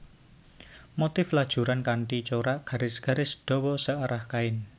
Motif lajuran kanthi corak garis garis dawa searah kain